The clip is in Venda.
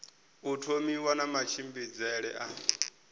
u thomiwa na matshimbidzele a